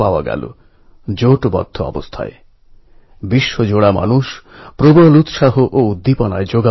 প্রত্যেকের এই সংযত ব্যবহার আমার মনে হয় এটা শেখার ও আত্মস্থ করার বিষয়